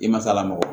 I ma sa lamɔ